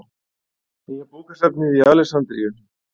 Nýja bókasafnið í Alexandríu.